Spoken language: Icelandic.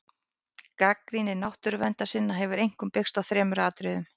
Gagnrýni náttúruverndarsinna hefur einkum byggst á þremur atriðum.